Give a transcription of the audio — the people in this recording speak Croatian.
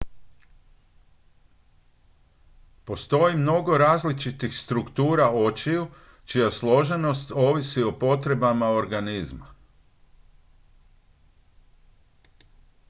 postoji mnogo različitih struktura očiju čija složenost ovisi o potrebama organizma